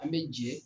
An bɛ jɛ